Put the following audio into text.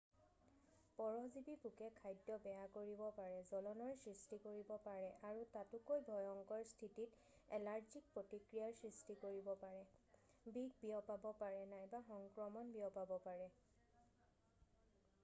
পৰজীৱী পোকে খাদ্য বেয়া কৰিব পাৰে জ্বলনৰ সৃষ্টি কৰিব পাৰে আৰু তাতোকৈ ভয়ংকৰ স্থিতিত এলাৰ্জিক প্ৰতিক্ৰিয়াৰ সৃষ্টি কৰিব পাৰে বিষ বিয়পাব পাৰে নাইবা সংক্ৰমণ বিয়পাব পাৰে